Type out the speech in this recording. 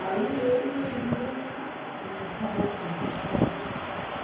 Aí eu e minha irmã, não é, acabou tudo, estragou.